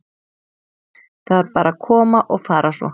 Þær bara koma og fara svo.